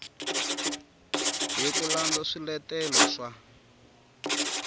hi ku landza swiletelo swa